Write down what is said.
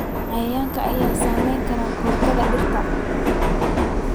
Cayayaanka ayaa saameyn kara koritaanka dhirta.